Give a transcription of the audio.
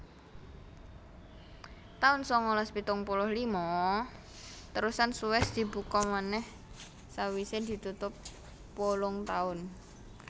taun sangalas pitung puluh lima Terusan Suez dibuka manèh sawisé ditutup wolung taun